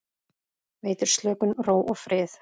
Veitir slökun, ró og frið.